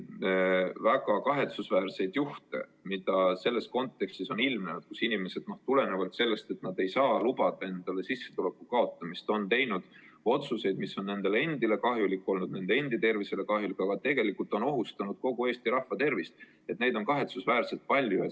Neid väga kahetsusväärseid juhtumeid, kui inimesed on tulenevalt sellest, et nad ei saa lubada endale sissetuleku vähenemist, teinud otsuseid, mis on nii nende enda tervisele kahjulikud kui ka tegelikult ohustavad kogu Eesti rahva tervist, on kahetsusväärselt palju.